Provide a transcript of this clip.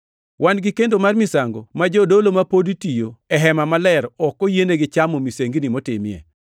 Wan gi kendo mar misango ma jodolo ma pod tiyo e Hema Maler ok oyienegi chamo misengini motimie.